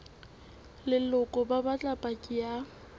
leloko ba batla paki ya